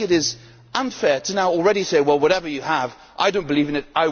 I think it is unfair already to say well, whatever you have, I do not believe in it